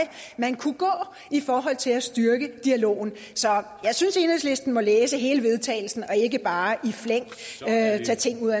man kunne gå i forhold til at styrke dialogen så jeg synes at enhedslisten må læse hele vedtagelse og ikke bare i flæng tage ting ud